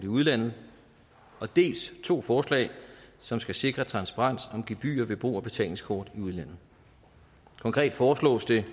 udlandet dels to forslag som skal sikre transparens om gebyrer ved brug af betalingskort i udlandet konkret foreslås det